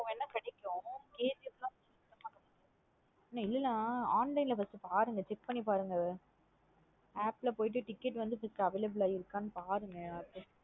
Theatre க்கு போன கிடைக்கும் KGF நா கொஞ்சம் கஷ்டம் தான். நா இல்லேன online ல first பாருங்க check பண்ணி பாருங்க app ல போயிட்டு ticket வந்து available அஹ் இருக்கானு பாருங்க.